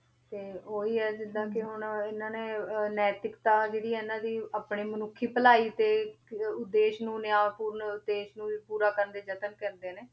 ਤੇ ਉਹੀ ਹੈ ਜਿੱਦਾਂ ਕਿ ਹੁਣ ਇਹਨਾਂ ਨੇ ਅਹ ਨੈਤਿਕਤਾ ਜਿਹੜੀ ਇਹਨਾਂ ਦੀ ਆਪਣੀ ਮਨੁੱਖੀ ਭਲਾਈ ਦੇ ਇੱਕ ਉਦੇਸ਼ ਨਿਆਂਪੂਰਨ ਉਦੇਸ਼ ਨੂੰ ਵੀ ਪੂਰਾ ਕਰਨ ਦੇ ਯਤਨ ਕਰਦੇ ਨੇ,